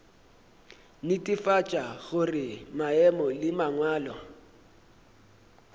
netefatša gore maemo le mangwalo